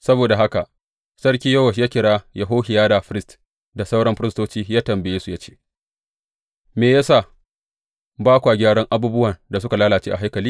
Saboda haka Sarki Yowash ya kira Yehohiyada firist da sauran firistoci ya tambaye su ya ce, Me ya sa ba kwa gyaran abubuwan da suka lalace a haikali?